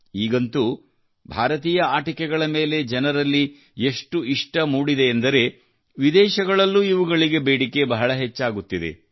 ಈಗಂತೂ ಭಾರತೀಯ ಆಟಿಕೆಗಳ ಮೇಲೆ ಜನರಲ್ಲಿ ಎಷ್ಟು ಇಷ್ಟ ಮೂಡಿದೆಯೆಂದರೆ ವಿದೇಶಗಳಲ್ಲೂ ಇವುಗಳಿಗೆ ಬೇಡಿಕೆ ಬಹಳ ಹೆಚ್ಚಾಗುತ್ತಿದೆ